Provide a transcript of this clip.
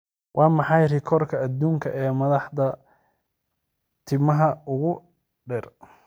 Waa maxay rikoorka adduunka ee madax timaha ugu dheer?